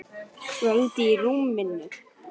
Kvöl í rómnum.